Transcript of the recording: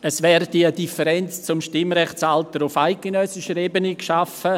Es werde eine Differenz zum Stimmrechtsalter auf eidgenössischer Ebene geschaffen;